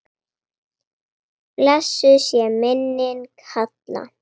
Blessuð sé minning Halla.